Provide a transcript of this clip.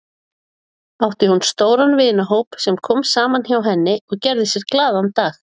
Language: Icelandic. Átti hún stóran vinahóp sem kom saman hjá henni og gerði sér glaðan dag.